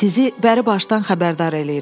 Sizi bəri başdan xəbərdar eləyirəm.